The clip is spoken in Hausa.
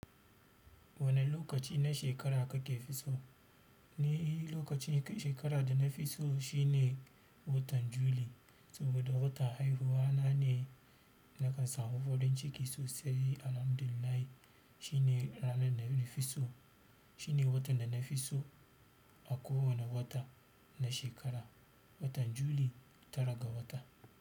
Wane lokaci na shekara kake fiso? Ni lokacin shekara da na fi so shine watan Juli, saboda watan haihuwa na ne. Nakan samu farin ciki sosai. Alhamdulillahi shi ne ranar da na fi so. Shi ne watan da na fi so a kowane wata na shekara, watan Juli tara ga wata.